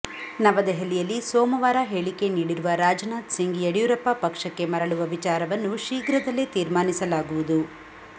ನವದೆಹಲಿಯಲ್ಲಿ ಸೋಮವಾರ ಹೇಳಿಕೆ ನೀಡಿರುವ ರಾಜನಾಥ್ ಸಿಂಗ್ ಯಡಿಯೂರಪ್ಪ ಪಕ್ಷಕ್ಕೆ ಮರಳುವ ವಿಚಾರವನ್ನು ಶೀಘ್ರದಲ್ಲೇ ತೀರ್ಮಾನಿಸಲಾಗುವುದು